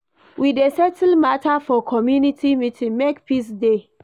We dey settle mata for community meeting, make peace dey.